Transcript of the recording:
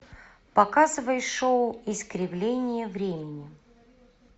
показывай шоу искривление времени